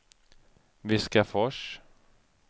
Viskafors